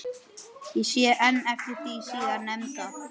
Ég sé enn eftir því síðar nefnda.